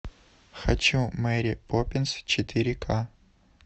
хочу мэри поппинс четыре ка